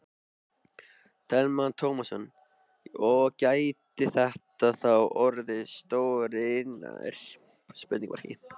Telma Tómasson: Og gæti þetta þá orðið stór iðnaður?